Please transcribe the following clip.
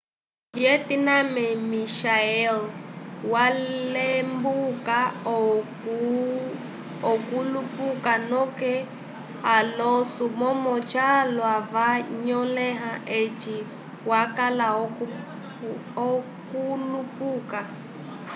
vietnamemichael walembuka okulupuka noke alonso momo calwa ca nyoleha eci wakala okulupuka